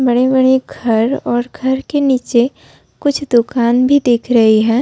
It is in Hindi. बड़े-बड़े घर और घर के नीचे कुछ दुकान भी दिख रही है।